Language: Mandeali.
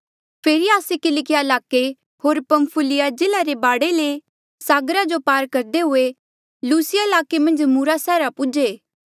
फेरी आस्से किलकिया ईलाके होर पंफुलिया जिल्ले रे बाढे ले सागर जो पार करदे हुए लुसिया ईलाके मन्झ मूरा सैहरा पूजे